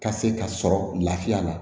Ka se ka sɔrɔ lafiya la